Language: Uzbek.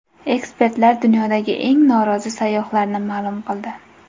Ekspertlar dunyodagi eng norozi sayyohlarni ma’lum qildi.